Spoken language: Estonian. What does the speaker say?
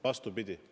Vastupidi!